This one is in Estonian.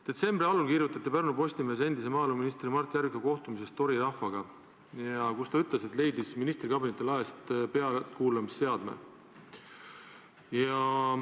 Detsembri algul kirjutati Pärnu Postimehes endise maaeluministri Mart Järviku kohtumisest Tori rahvaga, kus ta ütles, et leidis ministri kabineti laest pealtkuulamisseadme.